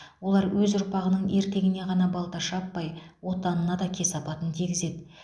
олар өз ұрпағының ертеңіне ғана балта шаппай отанына да кесапатын тигізеді